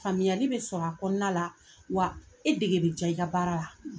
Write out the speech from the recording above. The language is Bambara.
Faamuyali bɛ sɔrɔ a kɔnɔna la, wa e dege bɛ diya i ka baara la